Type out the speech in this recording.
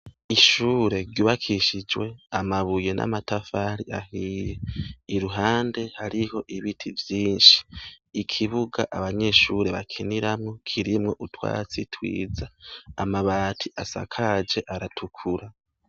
Ishure ryubakishijwe amabuye n'amatafari ahiye iruhande hariho ibiti vyinshi ikibuga abanyeshure bakiniramo kirimwo utwatsi twiza amabati asakaje aratukura.